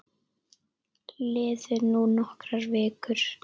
Liðu nú nokkrar vikur.